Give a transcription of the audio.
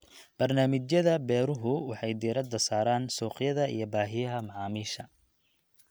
Barnaamijyada beeruhu waxay diiradda saaraan suuqyada iyo baahiyaha macaamiisha.